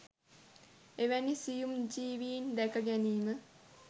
එවැනි සියුම් ජීවීන් දැක ගැනීම